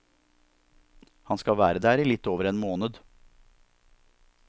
Han skal være der i litt over en måned.